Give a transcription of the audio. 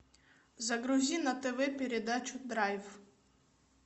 загрузи на тв передачу драйв